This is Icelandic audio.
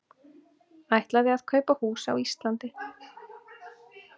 Ætlaði að kaupa hús á Íslandi